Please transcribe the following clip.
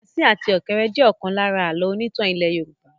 Asín àti ọ̀kéré jẹ ọ̀kan lára àlọ́ onítàn ilẹ́ Yorùbá.